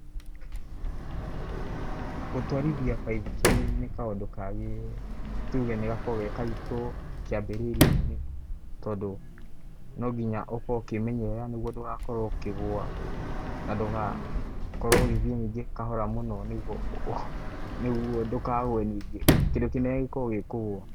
Gũtwarithia baithikiri, nĩ kaũndũ kangĩ, tuge nĩgakoragũo ge karitũ, kĩambĩrĩriainĩ, tondũ, nonginya ũkorũo ukĩmenyerera nĩguo ndũgakorũo ũkĩgũa, na ndũga, korũo ũgĩthiĩ ningĩ kahora mũno nĩguo, nĩguo ndũkagũe ningĩ, kĩndũ kĩnene gĩkoragũo gĩ kũgũa.